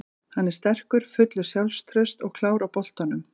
Hann er sterkur, fullur sjálfstrausts og klár á boltanum.